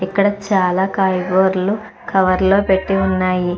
ఇక్కడ చాలా కాయగూరలు కవర్ లో పెట్టి ఉన్నాయి.